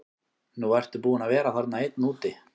Nú ertu búinn að vera þarna einn úti.